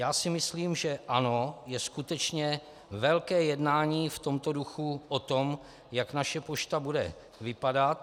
Já si myslím, že ano, je skutečně velké jednání v tomto duchu o tom, jak naše pošta bude vypadat.